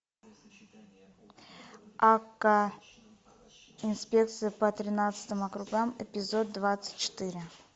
акка инспекция по тринадцатым округам эпизод двадцать четыре